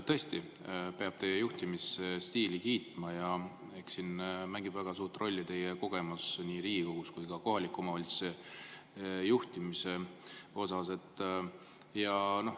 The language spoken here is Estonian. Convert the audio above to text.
Tõesti peab teie juhtimisstiili kiitma ja eks siin mängib väga suurt rolli teie kogemus nii Riigikogus kui ka kohaliku omavalitsuse juhtimisel.